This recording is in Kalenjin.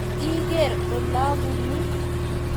Tos, igeer olabunuu?